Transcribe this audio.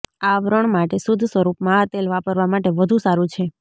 આવરણ માટે શુદ્ધ સ્વરૂપમાં આ તેલ વાપરવા માટે વધુ સારું છે